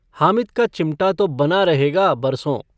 हामिद का चिमटा तो बना रहेगा बरसों।